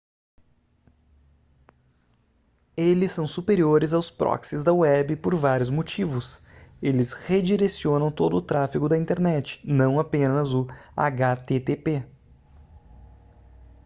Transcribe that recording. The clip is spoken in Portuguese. eles são superiores aos proxies da web por vários motivos eles redirecionam todo o tráfego da internet não apenas o http